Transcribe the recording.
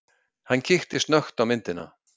Hann kíkti snöggt á myndina.